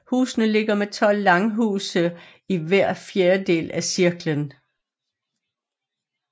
Husene ligger med tolv langhuse i hver fjerdedel af cirklen